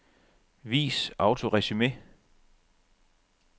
Vis autoresumé.